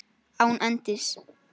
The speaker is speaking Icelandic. Án endis.